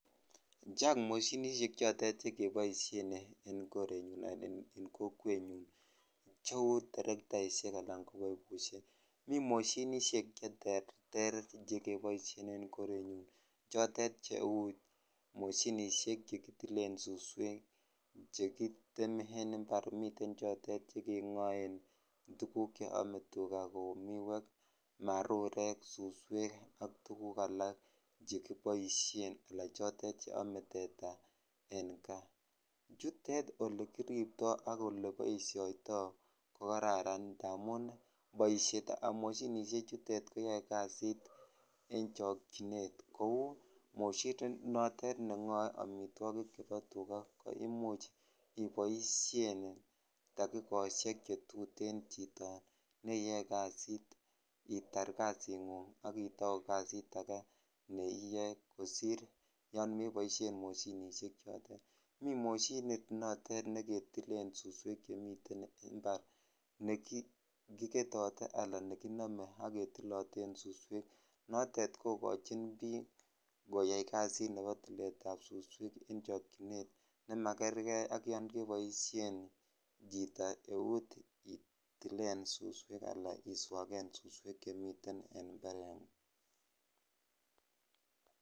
chang moshinishek chotet chekeboishen en korenyun anan ko kokwenyun cheu terektaishek alan ko pipushek mi moshinishek che terter chekeboishen en korenyun chotet cheu moshinishek chekitilen suswek chekitemen mbar miten chotet chekengoen tuguk cheome tuga chotet kou miwek marurek suswek ak tuguk alak chekiboishen anan chotet cheome teta en kaa chutet elekiribto akole oleboishoto kokararan amun boishetab moshinishe chutet koyoe kazit en chokyinet kou moshinit notet nengoe amitwikik chebo tuga koimuch iboishen tagikoshek chetuten chito neiyoe kazit itar kazingung aki tou kazit age neiyoe kosir yoon meboishen moshinishek chotet mi moshinit notet neketilen suswek en chemiten mbar nekiketote alan nekinome ake tiloten suswek nootet kokochin biik koyai kazit neo tiletab suswek en chiokyinet ne makerke ak yoon keboishen chito eut itilen suswek alan iswaken suswek chemiten en mbarengung